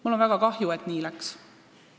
Mul on väga kahju, et nii läks.